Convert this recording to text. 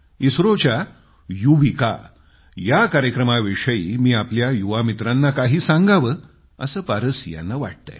इस्त्रोच्या युविका या कार्यक्रमाविषयी मी आपल्या युवामित्रांना काही सांगावं असं पारस यांना वाटतंय